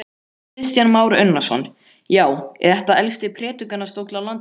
Kristján Már Unnarsson: Já, er þetta elsti predikunarstóll á landinu?